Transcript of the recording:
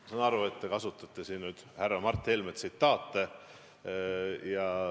Ma saan aru, et te kasutasite härra Mart Helme tsitaate.